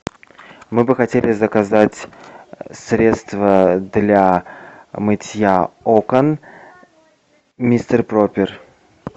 мы бы хотели заказать средство для мытья окон мистер пропер